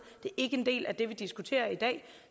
ikke en del af det vi diskuterer i dag